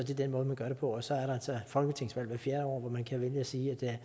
den måde man gør det på og så er der altså folketingsvalg hvert fjerde år hvor man kan vælge at sige at det